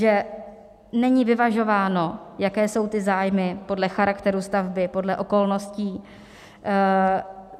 Že není vyvažováno, jaké jsou ty zájmy podle charakteru stavby, podle okolností.